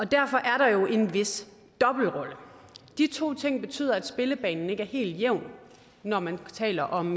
derfor er der jo en vis dobbeltrolle de to ting betyder at spillebanen ikke er helt jævn når man taler om